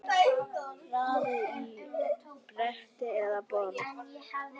Raðið á bretti eða borð.